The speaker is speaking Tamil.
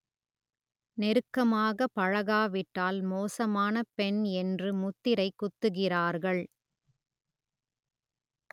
நெருக்கமாக பழகாவிட்டால் மோசமான பெண் என்று முத்திரை குத்துகிறார்கள்